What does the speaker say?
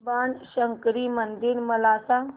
बाणशंकरी मंदिर मला सांग